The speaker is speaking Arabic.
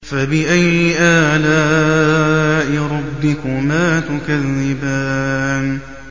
فَبِأَيِّ آلَاءِ رَبِّكُمَا تُكَذِّبَانِ